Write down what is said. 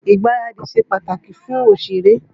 Ìgbaradì ṣe pàtàkì fún òṣèré.